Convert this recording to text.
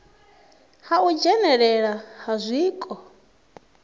ha u dzhenelelana ha zwiko